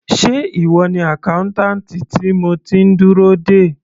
Sé ìwọ ni accountant tí mo ti ń dúró dè.